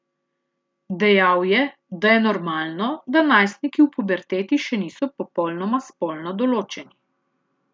Dejal je, da je normalno, da najstniki v puberteti še niso popolnoma spolno določeni.